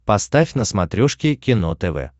поставь на смотрешке кино тв